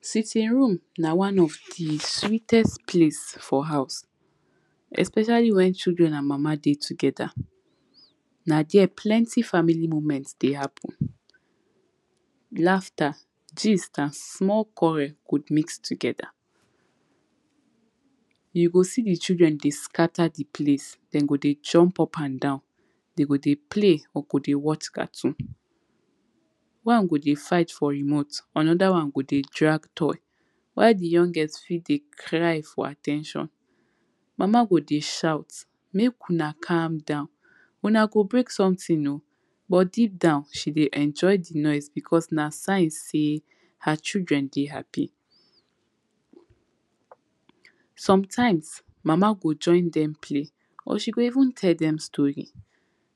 Sitting room na one of di sweetest place for house especially wen children and mama dey together. Na there plenty family moment dey happen laughter, gist and small quarrel go mix together You go see di children dey scatter di place, dem go dey jump up and down dey go dey play or go dey watch cartoon. One go dey fight for remote another one go dey drag toy while di youngest fit dey cry for at ten tion. Mama go dey shout make una calm down, una go break something oh but deep down she dey enjoy di noise becos na sign sey her children dey happy Sometimes mama go join dem play or she go even tell dem story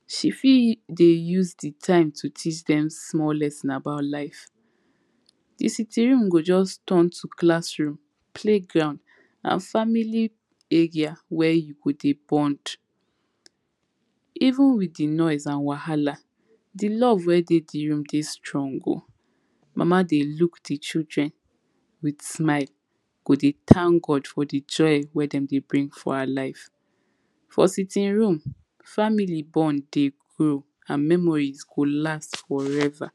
she fit dey use di time to teach dem small lesson about life Di sitting room go just turn to classroom, playground and family area where you go dey bond Even with di noise and wahala, di love wey dey di room dey strong oh Mama dey look di children with smile, go dey thank God for di joy wey dem dey bring for her life For sitting room family bond dey grow and memories go last forever